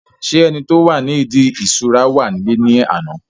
ṣé ẹni tí ó wà ní ìdí ìṣura wà nílé ní àná?